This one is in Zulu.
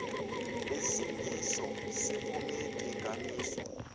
lesimiso sephomedi ingamiswa